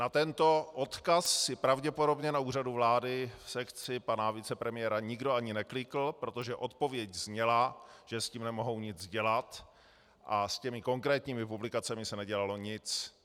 Na tento odkaz si pravděpodobně na Úřadu vlády v sekci pana vicepremiéra nikdo ani neklikl, protože odpověď zněla, že s tím nemohou nic dělat, a s těmi konkrétními publikacemi se nedělalo nic.